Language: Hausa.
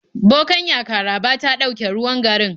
Bokanya Karaba ta dauke ruwan garin